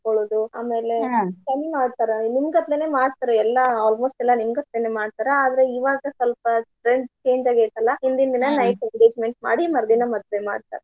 ಸುತ್ಕೊಳೋದು ಆಮೇಲೆ ಚಂದ ಮಾಡ್ತಾರ. ನಿಮ್ಮ ಗತ್ಲೆನೆ ಮಾಡ್ತಾರ ಎಲ್ಲಾ almost ಎಲ್ಲಾ ನಿಮ್ಮ ಗತೆನ ಮಾಡ್ತಾರ. ಆದ್ರ ಇವಾಗ ಸ್ವಲ್ಪ trend change ಆಗೇತಿ ಅಲ್ಲಾ ಹಿಂದಿನ ದಿನಾ night engagement ಮಾಡಿ ಮರ್ದಿನಾ ಮದ್ವೆ ಮಾಡ್ತಾರ.